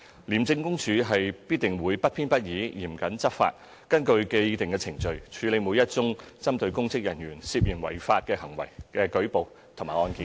廉政公署必定會不偏不倚、嚴謹執法，根據既定程序處理每一宗針對公職人員涉嫌違法行為的舉報和案件。